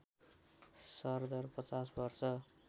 सरदर ५० वर्ष